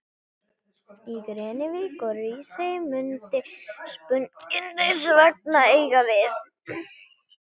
Í Grenivík og Hrísey mundi spurningin hins vegar eiga við.